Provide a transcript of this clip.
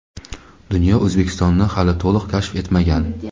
dunyo O‘zbekistonni hali to‘liq kashf etmagan.